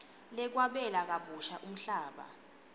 lwekwabela kabusha umhlaba